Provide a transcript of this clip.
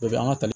Bɛɛ bɛ an ka ta